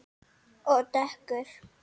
Og dökkur.